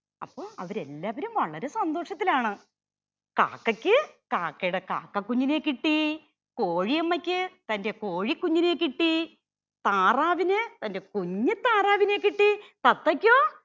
അപ്പൊ അവര് എല്ലാവരും വളരെ സന്തോഷത്തിലാണ്. കാക്കയ്ക്ക് കാക്കയുടെ കാക്ക കുഞ്ഞിനെ കിട്ടി. കോഴിയമ്മയ്ക്ക് തന്റെ കോഴി കുഞ്ഞിനെ കിട്ടി. താറാവിന് തന്റെ കുഞ്ഞു താറാവിനെ കിട്ടി. തത്തയ്‌ക്കോ